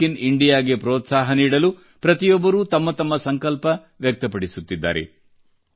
make in India ಗೆ ಪ್ರೋತ್ಸಾಹ ನೀಡಲು ಪ್ರತಿಯೊಬ್ಬರೂ ತಮ್ಮ ತಮ್ಮ ಸಂಕಲ್ಪ ವ್ಯಕ್ತಪಡಿಸುತ್ತಿದ್ದಾರೆ